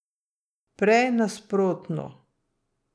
Prej nasprotno.